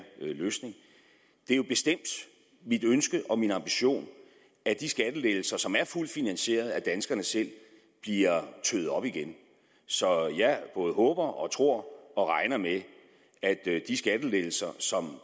løsning det er jo bestemt mit ønske og min ambition at de skattelettelser som er fuldt finansierede af danskerne selv bliver tøet op igen så jeg både håber tror og regner med at de skattelettelser som